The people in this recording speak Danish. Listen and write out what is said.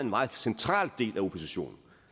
meget central del af oppositionen